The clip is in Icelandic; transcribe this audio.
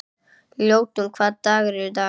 Ljótunn, hvaða dagur er í dag?